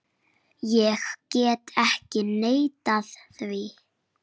Ég get ekki neitað því.